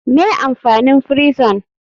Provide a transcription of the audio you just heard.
Me amfanin frison?